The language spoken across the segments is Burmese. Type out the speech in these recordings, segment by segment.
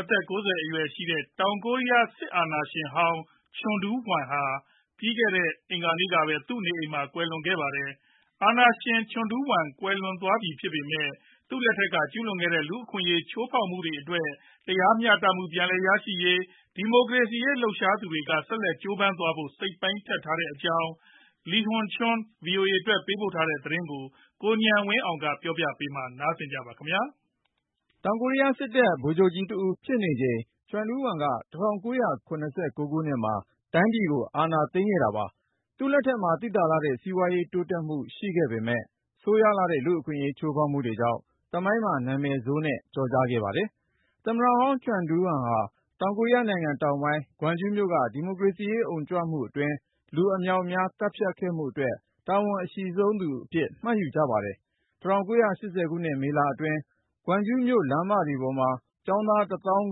အသက် ၉၀ အရွယ်ရှိတဲ့ တောင်ကိုရီးယား စစ်အာဏာရှင်ဟောင်း ချန်ဒူးဝမ်ဟာ ပြီးခဲ့တဲ့ အင်္ဂါနေ့ကပဲ သူ့နေအိမ်မှာ ကွယ်လွန်သွားခဲ့ပါတယ်။ အာဏာရှင် ချန်ဒူးဝမ် ကွယ်လွန်သွားပြီ ဖြစ်ပေမယ့် သူ့လက်ထက်တုန်းက ကျူးလွန်ခဲ့တဲ့ လူ့အခွင့်အရေး ချိုးဖောက်မှုတွေအတွက် တရားမျှတမှု ပြန်ရရေး၊ ဒီမိုကရေစီရေး လှုပ်ရှားသူတွေက ဆက်လက်ကြိုးပမ်းသွားဖို့ စိတ်ပိုင်းဖြတ်ထားကြတဲ့အကြောင်း Lee Hyun Choi ဗွီအိုအေအတွက် ပေးပို့တဲ့သတင်းကို ကိုဉာဏ်ဝင်းအောင် ပြောပြမှာ ဖြစ်ပါတယ်။ တောင်ကိုရီးယားစစ်တပ် ဗိုလ်ချုပ်ကြီးတဦးဖြစ်နေချိန် ချန်ဒူးဝမ်က ၁၉၇၉ ခုနှစ်မှာ တိုင်းပြည်ကို အာဏာသိမ်းခဲ့တာပါ။ သူ့လက်ထက်မှာ သိသာလှတဲ့ စီးပွားရေး တိုးတက်မှု ရှိခဲ့ပေမယ့် ဆိုးရွားလှတဲ့ လူ့အခွင့်အရေး ချိုးဖောက်မှုတွေကြောင့် သမိုင်းမှာ နာမည်ဆိုးနဲ့ ကျော်ကြားခဲ့ပါတယ်။ သမ္မတဟောင်း ချန်ဒူးဝမ်ဟာ တောင်ကိုရီးယားနိုင်ငံ တောင်ပိုင်း ဂွမ်ဂျူးမြို့က ဒီမိုကရေစီရေး အုံကြွမှုအတွင်း လူအမြောက်အမြား သတ်ဖြတ်ခဲ့မှုအတွက် တာဝန်အရှိဆုံးသူအဖြစ် မှတ်ယူကြပါတယ်။ ၁၉၈၀ ခုနှစ် မေလအတွင်း ဂွမ်ဂျူးမြို့ လမ်းမတွေပေါ်မှာ ကျောင်းသား ၁ သောင်း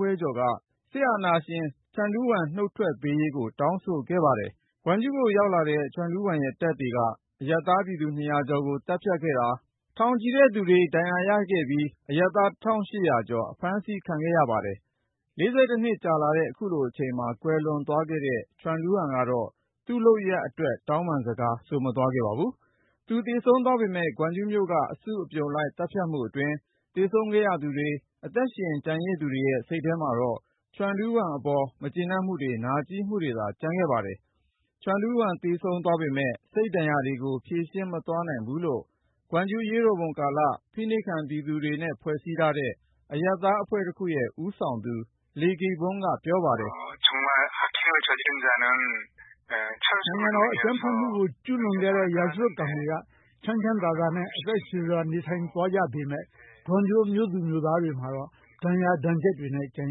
ခွဲကျော်က စစ်အာဏာရှင် ချန်ဒူးဝမ် နုတ်ထွက်ပေးရေးကို တောင်းဆိုခဲ့တာပါ။ ဂွမ်ဂျူးကို ရောက်လာတဲ့ ချန်ဒူးဝမ်ရဲ့ တပ်တွေက အရပ်သားပြည်သူ ၂၀၀ ကျော်ကို သတ်ဖြတ်ခဲ့သလို ထောင်ချီတဲ့သူတွေ ဒဏ်ရာရခဲ့ပြီး အရပ်သား ၁,၈၀၀ ကျော် အဖမ်းဆီးခံခဲ့ရပါတယ်။ ၄၁ နှစ်ကြာလာတဲ့ ခုလိုအချိန်မှာ ကွယ်လွန်သွားတဲ့ ချန်ဒူးဝမ်ကတော့ သူ့လုပ်ရပ်တွေအတွက် တောင်းပန်စကား ဆိုမသွားခဲ့ပါဘူး။ သူသေဆုံးသွားပေမယ့် ဂွမ်ဂျူးမြို့က အစုအပြုံလိုက် သတ်ဖြတ်မှုအတွင်း သေဆုံးခဲ့ရသူတွေ၊ အသက်ရှင် ကျန်ရစ်သူတွေရဲ့ စိတ်ထဲမှာတော့ ချန်ဒူးဝမ်အပေါ် မကျေနပ်မှုတွေ နာကြည်းမှုတွေသာ ကျန်နေခဲ့ပါတယ်။ ချန်ဒူးဝမ် သေဆုံးသွားပေမယ့် စိတ်ဒဏ်ရာတွေကို ဖြေရှင်းမသွားနိုင်ဘူးလို့ ဂွမ်ဂျူးအရေးတော်ပုံကာလ ဖိနှိပ်ခံပြည်သူတွေနဲ့ ဖွဲ့စည်းထားတဲ့ အရပ်သားအဖွဲ့တခုရဲ့ ဦးဆောင်သူ Lee Gi-bong က ပြောပါတယ်။ "နိုင်ငံတော်အကြမ်းဖက်မှုကို ကျူးလွန်ခဲ့တဲ့ ရာဇဝတ်ကောင်တွေက ချမ်းချမ်းသာသာနဲ့ အသက်ရှည်စွာ နေထိုင်သွားကြပေမယ့် ဂွမ်ဂျူးမြို့သူမြို့သားတွေမှာတော့ ဒဏ်ရာတွေ ကျန်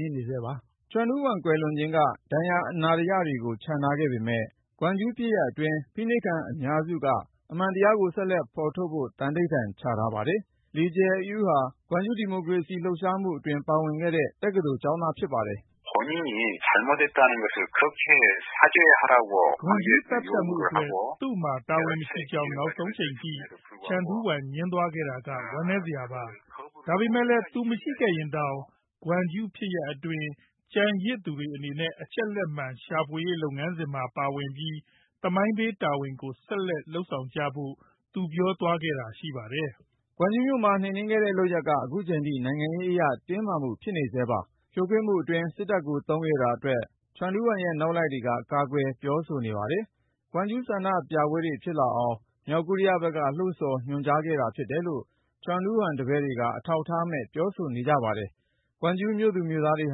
နေဆဲပါ။" ချန်ဒူးဝမ် ကွယ်လွန်ခြင်းက ဒဏ်ရာအနာတရတွေကို ချန်ထားခဲ့ပေမယ့် ဂွမ်ဂျူးဖြစ်ရပ်အတွင်း ဖိနှိပ်ခံအများစုက အမှန်တရားကို ဆက်လက်ဖော်ထုတ်ဖို့ သန္နိဋ္ဌာန်ချထားပါတယ်။ Lee Jae-eui ဟာ ဂွမ်ဂျူး ဒီမိုကရေစီ လှုပ်ရှားမှုအတွင်း ပါဝင်ခဲ့တဲ့ တက္ကသိုလ်ကျောင်းသား ဖြစ်ပါတယ်။ "ဂွမ်ဂျူးသတ်ဖြတ်မှုအတွက် သူ့မှာ တာဝန်မရှိကြောင်း နောက်ဆုံးအချိန်ထိ ချန်ဒူးဝမ် ငြင်းသွားခဲ့တာက ဝမ်းနည်းစရာပါ။ ဒါပေမယ့်လည်း သူမရှိခဲ့ရင်တောင် ဂွမ်ဂျူးဖြစ်ရပ်အတွင်း ကျန်ရစ်သူတွေအနေနဲ့ အချက်လက်မှန် ရှာဖွေရေး လုပ်ငန်းစဉ်မှာ ပါဝင်ပြီး သမိုင်းပေးတာဝန်ကို ဆက်လုပ်ကြဖို့ သူပြောသွားခဲ့တာ ရှိပါတယ်။" ဂွမ်ဂျူးမြို့မှာ နှိမ်နင်းခဲ့တဲ့လုပ်ရပ်က ခုချိန်ထိ နိုင်ငံရေးအရ တင်းမာမှု ဖြစ်နေဆဲပါ။ ဖြိုခွင်းမှုအတွင်း စစ်တပ်ကို သုံးခဲ့တာအတွက် ချန်ဒူးဝမ်ရဲ့ နောက်လိုက်တွေက ကာကွယ်ပြောဆိုနေပါတယ်။ ဂွမ်ဂျူး ဆန္ဒပြပွဲတွေ ဖြစ်လာအောင် မြောက်ကိုရီးယားဘက်က လှုံ့ဆော် ညွှန်ကြားခဲ့တာ ဖြစ်တယ်လို့ ချန်ဒူးဝမ်တပည့်တွေက အထောက်ထားမဲ့ ပြောဆိုနေကြပါတယ်။ ဂွမ်ဂျူးမြို့သူမြို့သားတွေ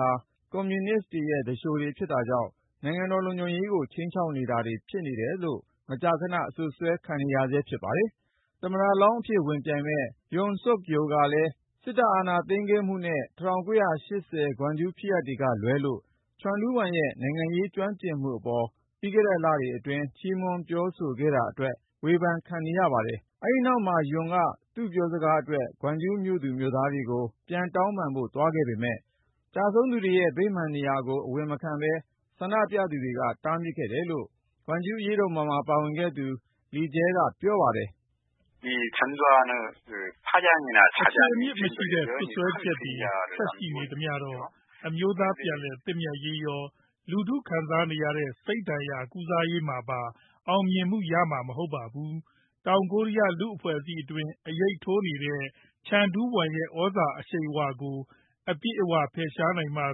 ဟာ ကွန်မြူနစ်ရဲ့ သူလျှိုတွေ ဖြစ်တာကြောင့် နိုင်ငံတော်လုံခြုံရေးကို ခြိမ်းခြောက်နေသူတွေ ဖြစ်တယ်လို့ မကြာခန အစွပ်စွဲခံနေရဆဲ ဖြစ်ပါတယ်။ သမ္မတလောင်းအဖြစ် ဝင်ပြိုင်မယ့် Yoon Seok-youl က စစ်အာဏာသိမ်းခဲ့မှုနဲ့ ၁၉၈၀ ဂွမ်ဂျူးဖြစ်ရပ်တွေကလွဲလို့ ချန်ဒူးဝမ်ရဲ့ နိုင်ငံရေးကျွမ်းကျင်မှုအပေါ် ပြီးခဲ့တဲ့လအတွင်း ချီးမွမ်းပြောဆိုခဲ့တာအတွက် ဝေဖန်ခံနေရပါတယ်။ အဲဒီနောက်မှာ Yoon က သူ့ပြောစကားအတွက် ဂွမ်ဂျူးမြို့သားတွေကို ပြန်တောင်းပန်ဖို့ သွားခဲ့ပေမယ့် ကျဆုံးသူတွေရဲ့ ဗိမာန်နေရာကို အဝင်မခံဘဲ ဆန္ဒပြသူတွေက တားမြစ်ခဲ့တယ်လို့ ဂွမ်ဂျူးအရေးတော်ပုံမှာ ပါဝင်ခဲ့သူ Lee Jae-eui က ပြောပါတယ်။ “အခြေအမြစ်မရှိတဲ့ စွပ်စွဲချက်တွေ ဆက်ရှိနေသမျှတော့ အမျိုးသားပြန်လည်သင့်မြတ်ရေးရော၊ လူထုခံစားနေရတဲ့ စိတ်ဒဏ်ရာ ကုစားရေးမှာပါ အောင်မြင်မှုရမှာ မဟုတ်ပါဘူး။ တောင်ကိုရီးယား လူ့အဖွဲ့အစည်းအတွင်း အရိပ်ထိုးနေတဲ့ ချန်ဒူးဝမ်ရဲ့ သြဇာအရှိန်အဝါကို အပြည့်အဝ ဖယ်ရှားနိုင်မှ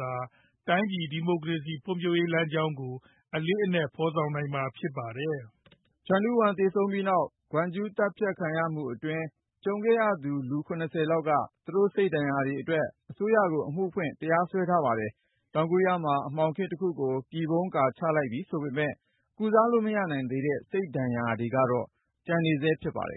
သာ တိုင်းပြည် ဒီမိုကရေစီ ဖွံ့ဖြိုးရေး လမ်းကြောင်းကို အလေးနက် အကောင်အထည်ဖော်နိုင်မှာ ဖြစ်ပါတယ်။” ချန်ဒူးဝမ် သေဆုံးပြီးနောက် ဂွမ်ဂျူး သတ်ဖြတ်ခံရမှုအတွင်း ကြုံခဲ့ရသူ လူ ၇၀ လောက်က သူတို့ စိတ်ဒဏ်ရာတွေအတွက် အစိုးရကို အမှုဖွင့် တရားစွဲထားပါတယ်။ တောင်ကိုရီးယားမှာ အမှောင်ခေတ်တခုကို ပြည်ဖုံးလိပ်ကာ ချလိုက်ပြီဆိုပေမယ့် ကုစားလို့ မရနိုင်သေးတဲ့ စိတ်ဒဏ်ရာတွေကတော့ ကျန်နေဆဲ ဖြစ်ပါတယ်